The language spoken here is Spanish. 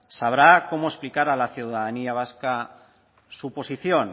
sabrá cómo explicar a la ciudadanía vasca su posición